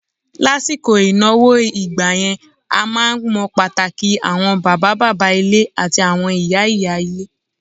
Lásìkò ìnáwó ìgbà yẹn, a máa ń mọ pàtàkì àwọn bàbá bàbá ilé àti àwọn ìyá ìyá ilé.